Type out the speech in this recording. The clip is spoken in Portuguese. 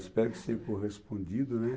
Espero que seja correspondido, né?